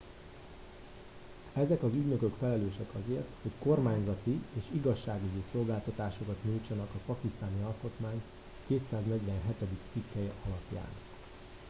ezek az ügynökök felelősek azért hogy kormányzati és igazságügyi szolgáltatásokat nyújtsanak a pakisztáni alkotmány 247. cikkelye alapján